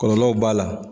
Kɔlɔlɔw b'a la